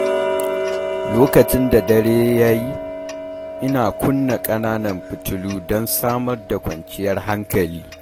Lokacin da dare ya yi, ina kunna ƙananan fitilu don samar da kwanciyar hankali.